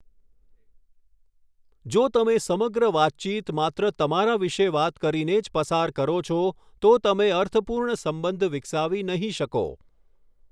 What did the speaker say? જો તમે સમગ્ર વાતચીત માત્ર તમારા વિશે વાત કરીને જ પસાર કરો છો, તો તમે અર્થપૂર્ણ સંબંધ વિકસાવી નહીં શકો.